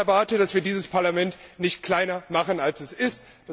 Und ich erwarte, dass wir dieses Parlament nicht kleiner machen als es ist.